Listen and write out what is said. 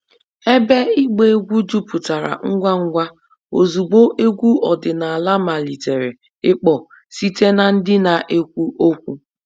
Ebe ịgba egwu jupụtara ngwa ngwa ozugbo egwu ọdịnala malitere ịkpọ site na ndị na-ekwu okwu